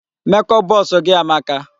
Make up box gị amaka.